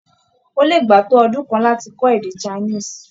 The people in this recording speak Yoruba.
Ó lè gbà á tó ọdún kan láti kọ́ èdè Chinese.